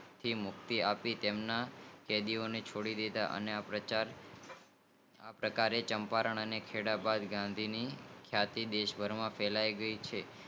થી મુક્તિ આપી તેમના કેદીઓ ને છોડી દીધા આ પ્રકારે ચંપારણ અને ખેડા ભાગ ની ખ્યતી દેશભર માં ફેલાઈ ગઈ